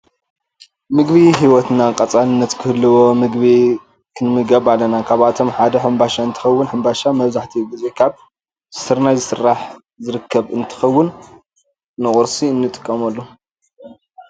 ምግቢ ሂወትና ቀፃልነተት ክህልዎ ምግቢ ክንምገብ ኣለና፣ ካብኣቶም ሓደ ሕምባሻ እንተከውን ሕምባሻ መብዛሕቲኡ ግዜ ካብ ስርናይዝስራሕ ዝርከብ እትከውን ንቁርሲ ንጥቀመሉ።